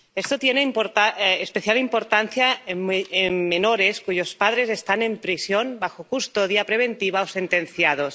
Esto tiene especial importancia en menores cuyos padres están en prisión bajo custodia preventiva o sentenciados.